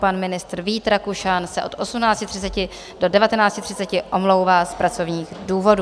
Pan ministr Vít Rakušan se od 18.30 do 19.30 omlouvá z pracovních důvodů.